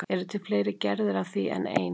Eru til fleiri gerðir af því en ein?